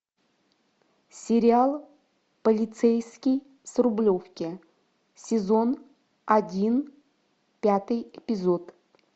сериал полицейский с рублевки сезон один пятый эпизод